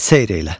Seyr elə.